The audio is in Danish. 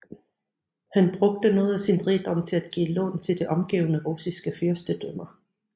Han brugte noget af sin rigdom til at give lån til de omgivende russiske fyrstedømmer